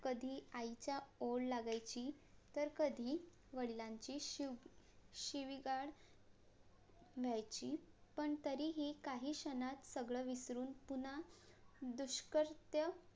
कधी आईचा ओढ लागायची तर कधी वडिलांची शिवीगाळ मिळायची पण तरीही काही क्षणात सगळं विसरून पुन्हा